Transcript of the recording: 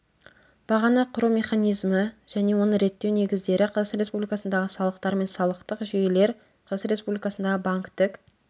бағаны құру механизмі және оны реттеу негіздері қазақстан республикасындағы салықтар мен салықтық жүйелер қазақстан республикасындағы банктік